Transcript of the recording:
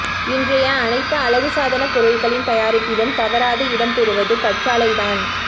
இன்றைய அனைத்து அழகுசாதனப் பொருட்களின் தயாரிப்பிலும் தவறாது இடம் பெறுவது கற்றாழைதான்